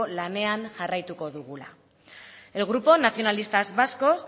lanean jarraituko dugula el grupo nacionalistas vascos